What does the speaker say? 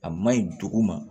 A maɲi dugu ma